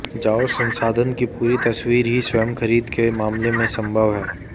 जाओ संसाधन की पूरी तस्वीर ही स्वयं खरीद के मामले में संभव है